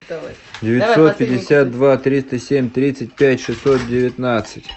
девятьсот пятьдесят два триста семь тридцать пять шестьсот девятнадцать